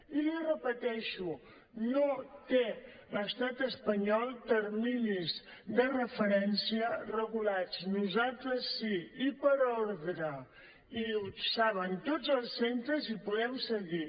i l’hi repeteixo no té l’estat espanyol terminis de referència regulats nosaltres sí i per ordre i ho saben tots els centres i podem seguir